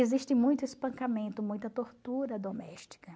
Existe muito espancamento, muita tortura doméstica.